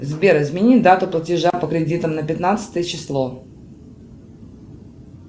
сбер измени дату платежа по кредитам на пятнадцатое число